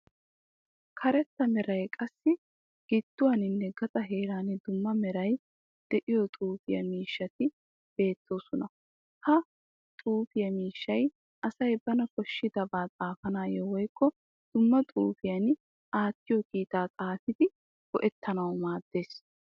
Karetta merayi qassi gidduwaaninne gaxa heeran dumma merayi de'iyo xuufiya miishshayi beettees. Ha xuufiya miishshayi asay bana koshshidaba xaafanawu woyikko dumma xuufiyan aattiyo kitaa xaafidi go'ettanawu maaddees.